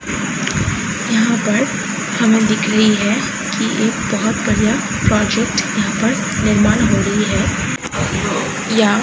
यहाँ पर हमें दिख रही है की एक बहोत बड़ा प्रोजेक्ट यहाँ पर निर्माण हो रही है या --